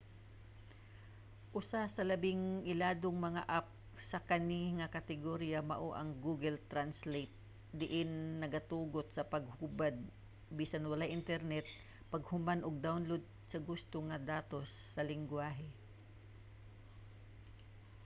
usa sa labing iladong mga app sa kani nga kategorya mao ang google translate diin nagatugot sa paghubad bisan walay internet paghuman og download sa gusto nga datos sa linggwahe